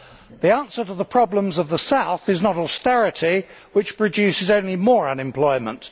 The answer to the problems of the South is not austerity, which produces only more unemployment.